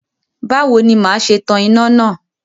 Báwo ni màá ṣe tan iná náà?